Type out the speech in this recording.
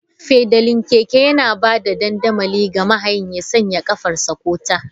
Fedalin keke yana ba da dandamali ga mahayin ya sanya ƙafarsa/ta.